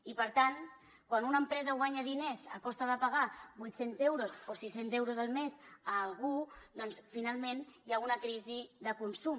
i per tant quan una empresa guanya diners a costa de pagar vuit cents euros o sis cents euros al mes a algú doncs finalment hi ha una crisi de consum